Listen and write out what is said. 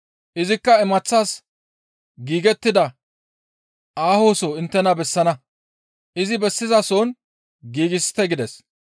Izikka imaththas giigettida aahoso inttena bessana; izi bessizason giigsite» gides.